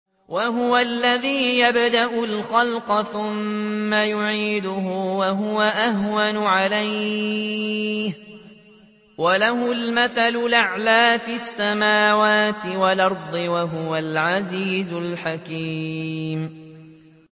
وَهُوَ الَّذِي يَبْدَأُ الْخَلْقَ ثُمَّ يُعِيدُهُ وَهُوَ أَهْوَنُ عَلَيْهِ ۚ وَلَهُ الْمَثَلُ الْأَعْلَىٰ فِي السَّمَاوَاتِ وَالْأَرْضِ ۚ وَهُوَ الْعَزِيزُ الْحَكِيمُ